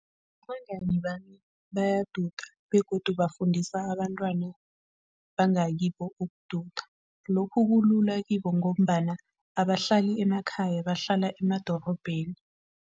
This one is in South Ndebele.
Abangani bami baduda begodu bafundisa abantwana bangakibo ukududa. Lokhu kulula kibo ngombana abahlali emakhaya, bahlala emadorobheni.